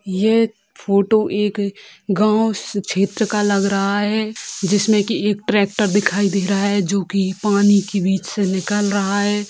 ये फोटो एक गाँव श्रेत्र का लग रहा है जिसमें की एक ट्रैक्टर दिखाई दे रहा है जोकि पानी की बीच से निकल रहा है।